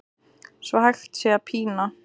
svo hægt sé að pína